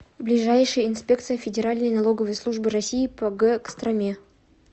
ближайший инспекция федеральной налоговой службы россии по г костроме